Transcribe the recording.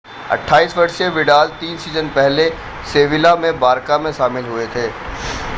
28 वर्षीय विडाल तीन सीजन पहले सेविला से बारका में शामिल हुए थे